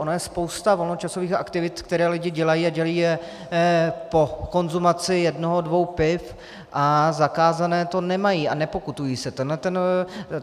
Ono je spousta volnočasových aktivit, které lidi dělají, a dělají je po konzumaci jednoho dvou piv, a zakázané to nemají a nepokutují se.